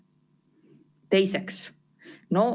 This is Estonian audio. Teiseks.